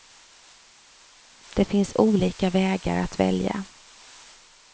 Det finns olika vägar att välja.